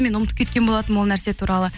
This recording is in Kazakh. мен ұмытып кеткен болатынмын ол нәрсе туралы